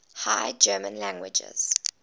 high german languages